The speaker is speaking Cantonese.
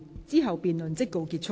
之後辯論即告結束。